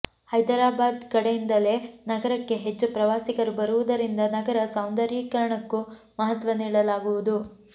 ಹೈದರಾಬಾದ್ ಕಡೆಯಿಂದಲೇ ನಗರಕ್ಕೆ ಹೆಚ್ಚು ಪ್ರವಾಸಿಗರು ಬರುವುದರಿಂದ ನಗರ ಸೌಂದರ್ಯೀಕರಣಕ್ಕೂ ಮಹತ್ವ ನೀಡಲಾಗುವುದು